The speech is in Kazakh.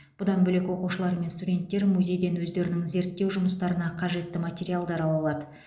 бұдан бөлек оқушылар мен студенттер музейден өздерінің зерттеу жұмыстарына қажетті материалдар ала алады